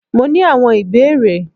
Mó ní awon ìbéèrè.